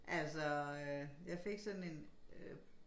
Altså øh jeg fik sådan en øh